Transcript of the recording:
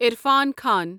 Irfan Khan